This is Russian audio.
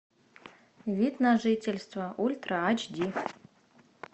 вид на жительство ультра ач ди